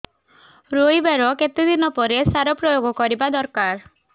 ରୋଈବା ର କେତେ ଦିନ ପରେ ସାର ପ୍ରୋୟାଗ କରିବା ଦରକାର